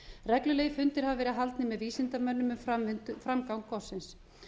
reglulegir fundir hafa verið haldnir með vísindamönnum um framgang gossins